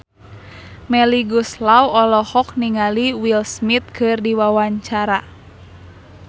Melly Goeslaw olohok ningali Will Smith keur diwawancara